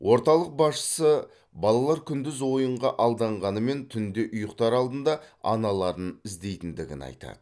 орталық басшысы балалар күндіз ойынға алданғанымен түнде ұйықтар алдында аналарын іздейтіндігін айтады